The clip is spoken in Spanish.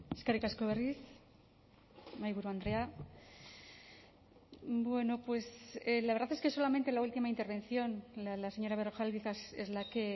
eskerrik asko berriz mahaiburu andrea bueno pues la verdad es que solamente en la última intervención la señora berrojalbiz es la que